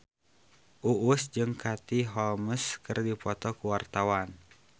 Uus jeung Katie Holmes keur dipoto ku wartawan